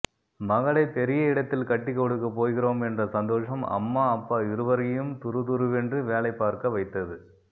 மகளை பெரிய இடத்தில் கட்டிக் கொடுக்கப் போகிறோம் என்ற சந்தோஷம் அம்மா அப்பா இருவரையும் துருதுருவென்று வேலை பார்க்க வைத்தது